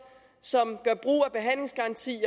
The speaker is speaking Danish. som gør brug